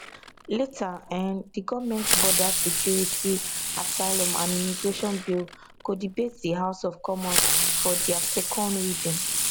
later um di goment border security asylum and immigration bill go debate di house of commons for dia second reading